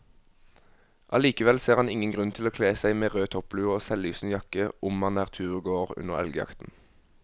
Allikevel ser han ingen grunn til å kle seg med rød topplue og selvlysende jakke om man er turgåer under elgjakten.